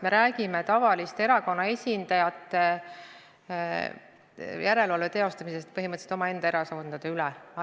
Me räägime tavaliste erakonna esindajate järelevalvest põhimõtteliselt omaenda erakondade üle.